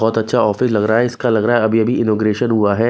बहोत अच्छा ऑफिस लग रहा है इसका लग रहा है अभी अभी इनॉग्रेशन हुआ है।